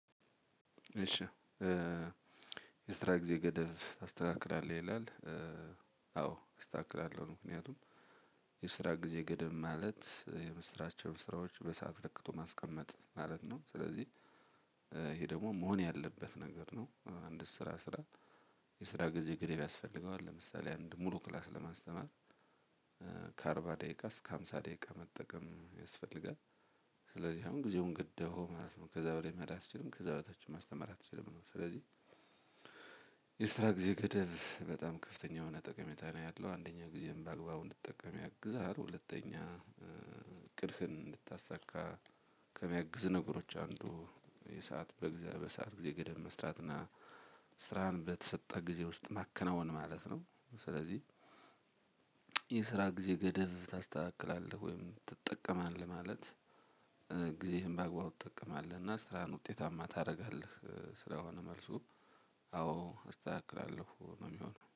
እሺ የስራ ጊዜ ገደብ ታስተካክላለህ ይላል አዎ አስታክላለሁ ነው ምክንያቱም የስራ ጊዜ ገደብ ማለት የምስራቸውን ስራዎች በሰአት ለክቶ ማስቀመጥ ማለት ነው። ስለዚህ ይሄ ደግሞ መሆን ያለበት ነገር ነው። አንድ ስራ ስራ የስራ ጊዜ ግሬብ ያስፈልገዋል ለምሳሌ አንድ ሙሉ ክላስ ለማስተማር ከአርባ ደቂቃ እስከ ሃምሳ ደቂቃ መጠቀም ያስፈልጋል። ስለዚህ አሁን ጊዜውን ገደብኸው ማለት ነው ከዛ በላይ መሄድ አትችልም ከዛ በታች ማስተማር አትችልም ነው። ስለዚህ የስራ ጊዜ ገደብ በጣም ከፍተኛ የሆነ ጠቀሜታ ነው ያለው አንደኛ ጊዜም በአግባቡ እንድጠቀም ያግዛል። ሁለተኛ እቅድህን እንድታሳካ ከሚያግዙ ነገሮች አንዱ የሰዓት በእግዚአብሔር በሰአት ጊዜ ገደብ መስራትና ስራህን በተሰጠ ጊዜ ውስጥ ማከናወን ማለት ነው። ስለዚህ የስራ ጊዜ ገደብ ታስተካክላለህ ወይም ትጠቀማለህ ማለት ጊዜህን በአግባቡ ትጠቀማለህ እና ስራህን ውጤታማ ታደርጋለህ ስለሆነ መልሱ አዎ አስተካክላለሁ ነው የሚሆነው